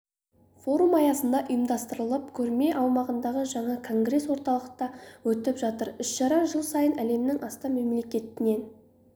форум аясында ұйымдастырылып көрме аумағындағы жаңа конгресс-орталықта өтіп жатыр іс-шара жыл сайын әлемнің астам мемлекетінен